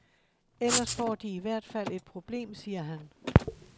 Ellers får de i hvert fald et problem, siger han.